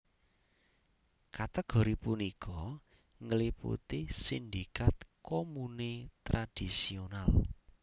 Kategori punika ngliputi sindikat komune tradisional